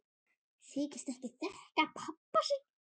Þykist ekki þekkja pabba sinn!